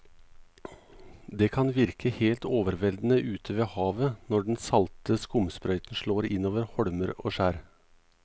Det kan virke helt overveldende ute ved havet når den salte skumsprøyten slår innover holmer og skjær.